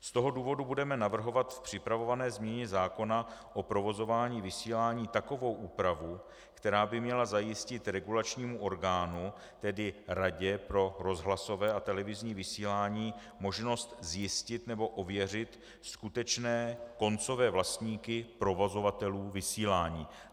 Z toho důvodu budeme navrhovat v připravované změně zákona o provozování vysílání takovou úpravu, která by měla zajistit regulačnímu orgánu, tedy Radě pro rozhlasové a televizní vysílání, možnost zjistit nebo ověřit skutečné koncové vlastníky provozovatelů vysílání.